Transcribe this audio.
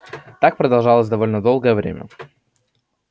так продолжалось довольно долгое время